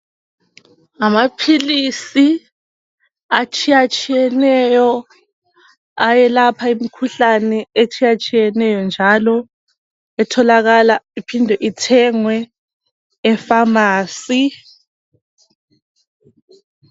ngamaphilisi atshiyatshiyeneyo ayelapha imkhuhlane etshiyatshiyeneyo njalo etholakala iphinde ithengwe e pharmacy